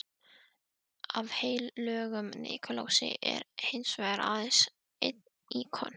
Af heilögum Nikulási er hinsvegar aðeins einn íkon.